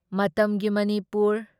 ꯃꯇꯝꯒꯤ ꯃꯅꯤꯄꯨꯔ